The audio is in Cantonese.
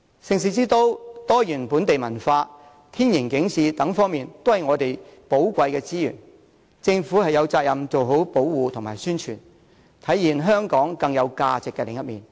盛事之都、多元本地文化、天然景致，這些都是我們的寶貴資源，政府有責任做好保護和宣傳，體現香港更有價值的另一面。